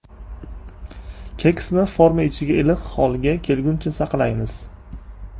Keksni forma ichida iliq holga kelguncha saqlaymiz.